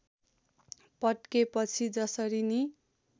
पड्केपछि जसरी नि